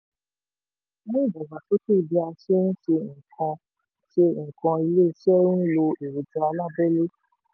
ó sọ: mú ìdàgbàsókè bá bí a ṣe ń ṣe nǹkan ṣe nǹkan iléeṣẹ́ n lo èròjà alábẹ́lé.